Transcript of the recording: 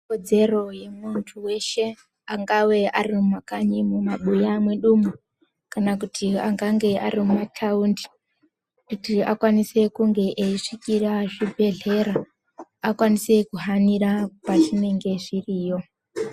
Kodzero yemuntu weshe angawe ari mumakanyi mumabuya mwedumwo kana kuti angange ari mumataundi kuti akwanise kunge eisvikira zvibhedhlera akwanise kuhanira kwazvinenge zviriyo.